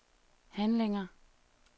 handlinger